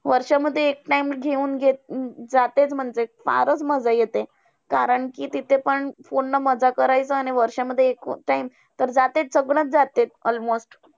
वर्षामध्ये एक time घेऊन घे म्हणजे फारचं मज्जा येते. कारण कि तिथे पण पूर्ण मज्जा करायचं, आणि वर्षामध्ये एक time तर जातेच सगळंच जाते almost.